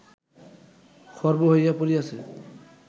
খর্ব হইয়া পড়িয়াছে